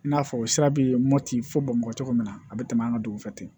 I n'a fɔ sira be mɔti fo bamakɔ cogo min na a be tɛmɛ an ka dugu fɛ ten